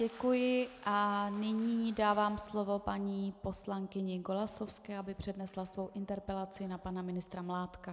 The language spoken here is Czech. Děkuji a nyní dávám slovo paní poslankyni Golasowské, aby přednesla svou interpelaci na pana ministra Mládka.